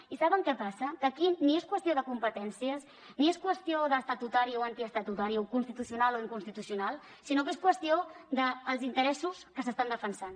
i saben què passa que aquí ni és qüestió de competències ni és qüestió d’estatutari o antiestatutari o constitucional o inconstitucional sinó que és qüestió dels interessos que s’estan defensant